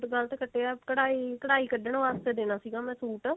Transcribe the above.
suit ਗਲਤ ਕੱਟਿਆ ਕਢਾਈ ਕਢਾਈ ਕੱਢਣ ਵਾਸਤੇ ਦੇਣਾ ਸੀਗਾ ਮੈਂ ਸੂਟ